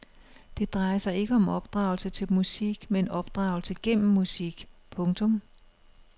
Det drejer sig ikke om opdragelse til musik men opdragelse gennem musik. punktum